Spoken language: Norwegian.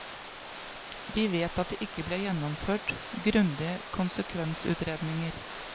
Vi vet at det ikke ble gjennomført grundige konsekvensutredninger.